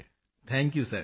Manzoor ji thank you sir